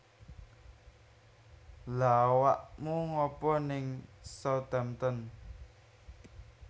Lha awakmu ngapa ning Southampton?